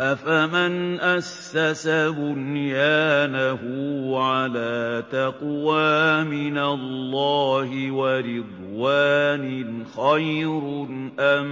أَفَمَنْ أَسَّسَ بُنْيَانَهُ عَلَىٰ تَقْوَىٰ مِنَ اللَّهِ وَرِضْوَانٍ خَيْرٌ أَم